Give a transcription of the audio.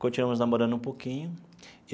Continuamos namorando um pouquinho.